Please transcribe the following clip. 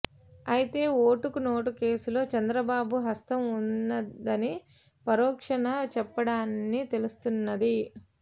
అయితే ఓటుకు నోటు కేసులో చంద్రబాబు హస్తం ఉన్నదని పరోక్షణ చెప్పాడని తెలుస్తున్నది